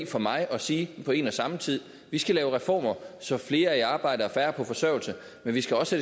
for mig i at sige på en og samme tid vi skal lave former så flere er i arbejde og færre er på forsørgelse men vi skal også